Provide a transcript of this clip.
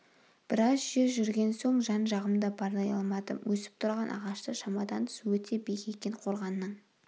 біраз жер жүрген соң жан-жағымды барлай алмадым өсіп тұрған ағаштар шамадан тыс өте биік екен қорғанның